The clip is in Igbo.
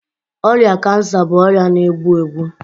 ọrịa kansa bụ ọrịa na-egbu egbu.